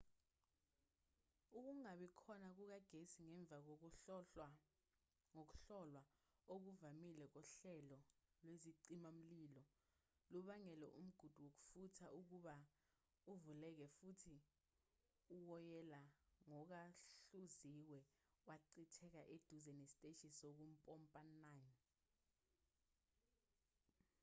ukungabi khona kukagesi ngemva kokuhlolwa okuvamile kohlelo lwezicima-mlilo lubangele umgudu wokufutha ukuba uvuleke futhi uwoyela ongahluziwe wachitheka eduza nesiteshi sokumpompa 9